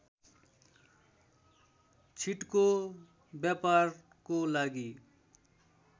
छिटको व्यापारको लागि